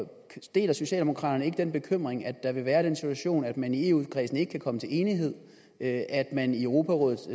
deler socialdemokraterne ikke den bekymring at der vil være den situation at man i eu kredsen ikke kan komme til enighed at man i europarådets